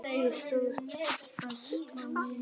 Ég stóð föst á mínu.